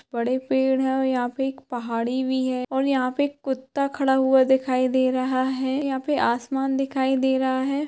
बड़े पेड़ है यहा पे एक पहाड़ी भि है और यहा पे एक कुत्ता खड़ा हुआ दिखाई दे रहा है यहा पे आसमान दिखाई दे रहा है ।